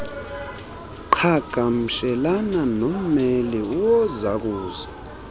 qhagamshelana nommeli wozakuzo